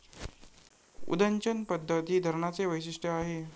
उदंचन पद्धत ही या धरणाचे वैशिष्ट्य आहे.